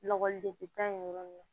Lɔgɔli degun na